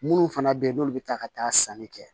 Minnu fana bɛ yen n'olu bɛ taa ka taa sanni kɛ